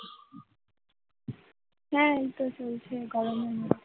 হ্যাঁ এইতো চলছে গরমের মধ্যে